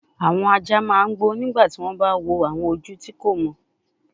Awọn aja ma n gbo nigba ti wọn ba wo awọn oju ti ko mọ